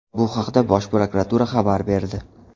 Bu haqda Bosh prokuratura xabar berdi .